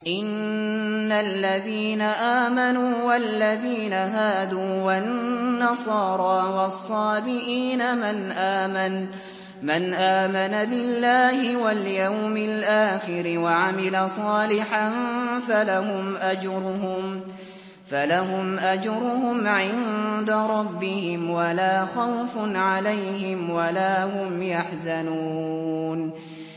إِنَّ الَّذِينَ آمَنُوا وَالَّذِينَ هَادُوا وَالنَّصَارَىٰ وَالصَّابِئِينَ مَنْ آمَنَ بِاللَّهِ وَالْيَوْمِ الْآخِرِ وَعَمِلَ صَالِحًا فَلَهُمْ أَجْرُهُمْ عِندَ رَبِّهِمْ وَلَا خَوْفٌ عَلَيْهِمْ وَلَا هُمْ يَحْزَنُونَ